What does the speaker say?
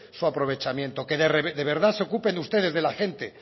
su aprovechamiento que de verdad se ocupen ustedes de la gente